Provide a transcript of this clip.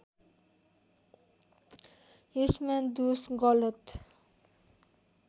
यसमा दोष गलत